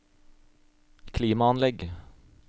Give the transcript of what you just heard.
klimaanlegg